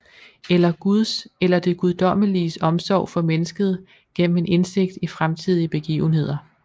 Eller guds eller det guddommeliges omsorg for mennesket gennem en indsigt i fremtidige begivenheder